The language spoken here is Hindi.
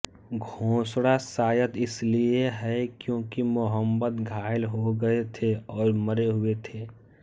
घोषणा शायद इसलिए है क्योंकि मुहम्मद घायल हो गए थे और मरे हुए थे